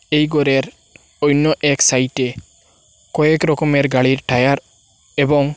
এই গরের অইন্য এক সাইটে কয়েক রকমের গাড়ির টায়ার এবং--